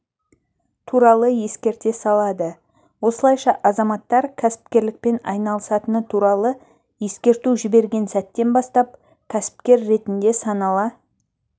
туралы ескерте салады осылайша азаматтар кәсіпкерлікпен айналысатыны туралы ескерту жіберген сәттен бастап кәсіпкер ретінде санала